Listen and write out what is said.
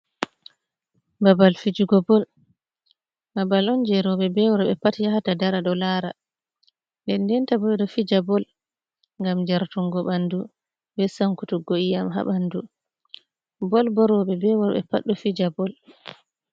Babal fijugo bol, babal on je rewɓe be worɓe pat yahata dara ɗo lara, nden ndenta ɓeɗo fija bol ngam jartungo ɓandu be sankutuggo iƴ'am ha ɓandu, bol bo rewɓe be worɓe pat ɗo fija bol.